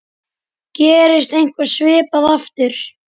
Gerist eitthvað svipað aftur?